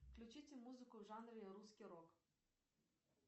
включите музыку в жанре русский рок